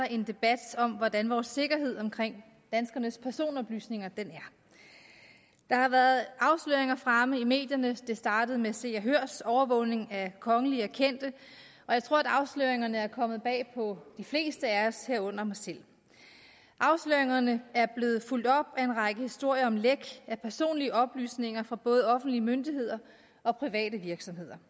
en debat om hvordan vores sikkerhed omkring danskernes personoplysninger er der har været afsløringer fremme i medierne det startede med se og hørs overvågning af kongelige og kendte og jeg tror at afsløringerne er kommet bag på de fleste af os herunder mig selv afsløringerne er blevet fulgt op af en række historier om læk af personlige oplysninger fra både offentlige myndigheder og private virksomheder